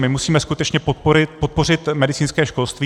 My musíme skutečně podpořit medicínské školství.